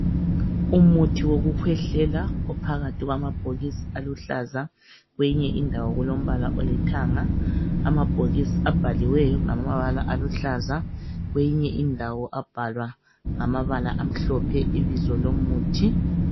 umuthi wokukhwehlela ophakathi kwamabhokisi aluhlaza kweyinye indawo kulombala olithanga amabhokisi abhaliweyo ngamabala aluhlaza kweyinye indawo abhalwa ngamabala ahlophe ibizo lomuthi